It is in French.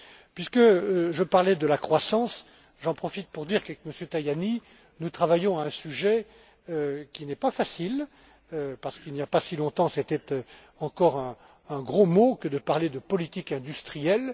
pour cela. Puisque je parlais de la croissance, j'en profite pour dire qu'avec M. Tajani, nous travaillons à un sujet qui n'est pas facile parce qu'il n'y a pas si longtemps, c'était encore un gros mot que de parler de politique industrielle.